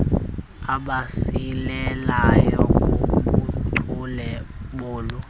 abasilelayo kubuchule bolu